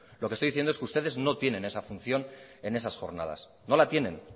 lo que estoy diciendo es que ustedes no tienen esa función en esas jornadas no la tienen